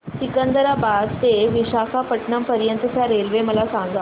सिकंदराबाद ते विशाखापट्टणम पर्यंत च्या रेल्वे मला सांगा